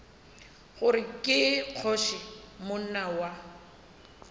gore ke kgoši monna wa